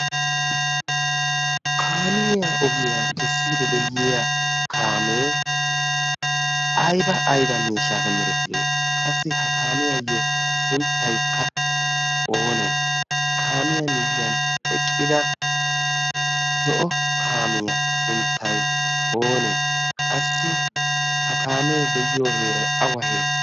kaamiyaa ogiyaa kessiidi deyiya kaamee aiba aiba meeshaape merettiree qassi ha kaamiyaayyo sunttaykka oonee kaamiyaa miyyan eqqida zo'o kaamiyaa sunttai oonee qassi ha kaamee de'iyo heeray awa heeree